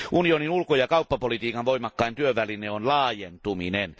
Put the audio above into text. Unionin ulko ja kauppapolitiikan voimakkain työväline on laajentuminen.